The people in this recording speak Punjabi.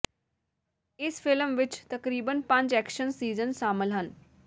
ਇਸ ਫਿਲਮ ਵਿਚ ਤਕਰੀਬਨ ਪੰਜ ਐਕਸ਼ਨ ਸੀਨਜ ਸ਼ਾਮਲ ਹਨ